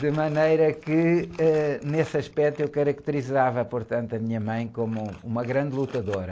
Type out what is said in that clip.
De maneira que, eh, nesse aspecto, eu caracterizava, portanto, a minha mãe como uma grande lutadora.